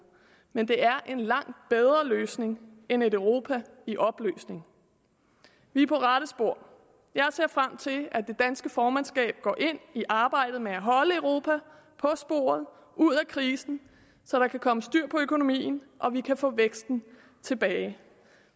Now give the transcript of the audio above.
men det er en langt bedre løsning end et europa i opløsning vi er på rette spor jeg ser frem til at det danske formandskab går ind i arbejdet med at holde europa på sporet ud af krisen så der kan komme styr på økonomien og vi kan få væksten tilbage